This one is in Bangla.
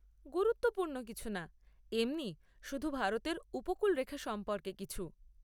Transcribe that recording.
গুরুত্বপূর্ণ কিছু না, এমনি শুধু ভারতের উপকূলরেখা সম্পর্কে কিছু।